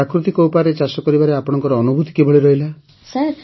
ପ୍ରାକୃତିକ ଉପାୟରେ ଚାଷ କରିବାରେ ଆପଣଙ୍କ ଅନୁଭୁତି କିଭଳି ରହିଲା